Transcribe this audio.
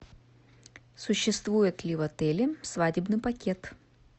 существует ли в отеле свадебный пакет